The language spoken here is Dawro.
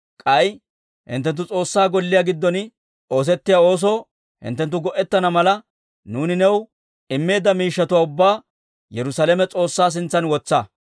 K'ay hinttenttu S'oossaa Golliyaa giddon oosettiyaa oosoo hinttenttu go'ettana mala, nuuni new immeedda miishshatuwaa ubbaa Yerusaalame S'oossaa sintsan wotsa.